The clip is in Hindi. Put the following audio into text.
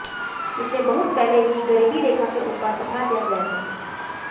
इसे बहुत पहले ही गरीबी रेखा के ऊपर उठा दिया गया था